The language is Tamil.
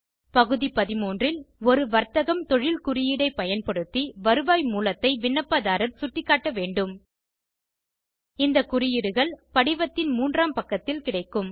பகுதி 13 ல் ஒரு வர்த்தம்தொழில் குறியீடை பயன்படுத்தி வருவாய் மூலத்தை விண்ணப்பதாரர் சுட்டிக்காட்ட வேண்டும் இந்த குறியீடுகள் படிவத்தின் மூன்றாம் பக்கத்தில் கிடைக்கும்